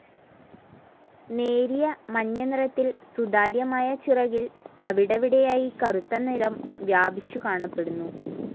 നേരിയ മഞ്ഞ നിറത്തിൽ സുതാര്യമായ ചിറകിൽ അവിടിവിടെയായി കറുത്ത നിറം വ്യാപിച്ചു കാണപ്പെടുന്നു.